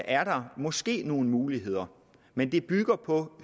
er der måske nogle muligheder men det bygger på